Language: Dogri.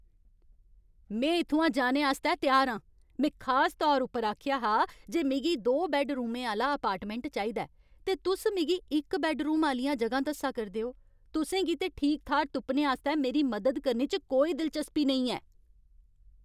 में इत्थुआं जाने आस्तै त्यार आं। में खास तौर उप्पर आखेआ हा जे मिगी दो बैड्डरूमें आह्‌ला अपार्टमैंट चाहिदा ऐ, ते तुस मिगी इक बैड्डरूम आह्लियां जगहां दस्सा करदे ओ। तुसें गी ते ठीक थाह्‌र तुप्पने आस्तै मेरी मदद करने च कोई दिलचस्पी नेईं ऐ।